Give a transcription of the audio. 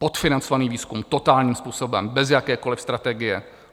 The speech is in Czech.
Podfinancovaný výzkum - totálním způsobem, bez jakékoliv strategie.